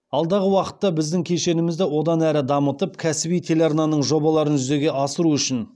алдағы уақытта біздің кешенімізді одан әрі дамытып кәсіби телеарнаның жобаларын жүзеге асыру үшін